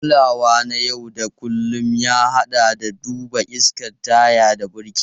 Kulawa na yau da kullun, ya haɗa da duba iskan taya da birki.